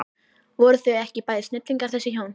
Voru þau ekki bæði snillingar þessi hjón?